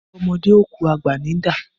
Bọ́mọdé ò kú, àgbà ní ń dà.